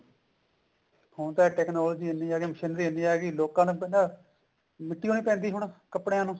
ਹੁਣ ਤਾਂ technology ਇੰਨੀ ਆਗੀ ਮਸ਼ੀਨਰੀ ਇੰਨਾ ਆਗੀ ਲੋਕਾਂ ਨੇ ਤਾਂ ਮਿੱਟੀ ਓ ਨਹੀਂ ਪੈਂਦੀ ਹੁਣ ਕੱਪੜੇਆਂ ਨੂੰ